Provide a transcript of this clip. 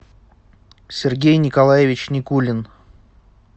сергей николаевич никулин